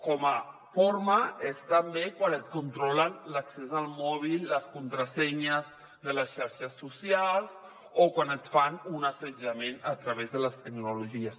com a forma és també quan et controlen l’accés al mòbil les contrasenyes de les xarxes socials o quan et fan un assetjament a través de les tecnologies